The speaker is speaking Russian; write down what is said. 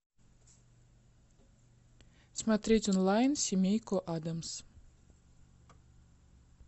смотреть онлайн семейку адамс